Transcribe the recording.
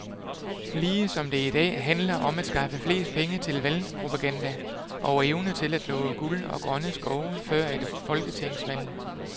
Ligesom det i dag handler om skaffe flest penge til valgpropaganda og evne til at love guld og grønne skove før et folketingsvalg.